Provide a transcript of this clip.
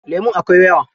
Lemun akwai yawa.